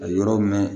A yɔrɔ mɛn